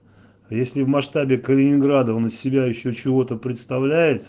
если в масштабе калининграда на себя ещё чего-то представляет